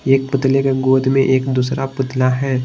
एक पुतले के गोद में एक दूसरा पुतला है।